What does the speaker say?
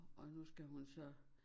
Og nu skal hun så